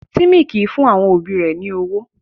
Timmy kìí fún àwọn òbí rẹ̀ ní ọwọ́.